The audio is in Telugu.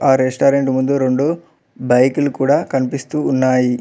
ఆ రెస్టారెంట్ ముందు రెండు బైకు లు కూడా కనిపిస్తూ ఉన్నాయి.